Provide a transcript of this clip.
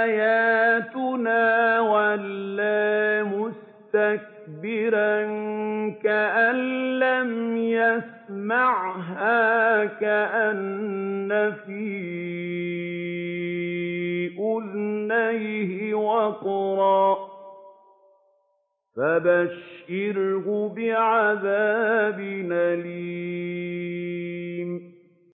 آيَاتُنَا وَلَّىٰ مُسْتَكْبِرًا كَأَن لَّمْ يَسْمَعْهَا كَأَنَّ فِي أُذُنَيْهِ وَقْرًا ۖ فَبَشِّرْهُ بِعَذَابٍ أَلِيمٍ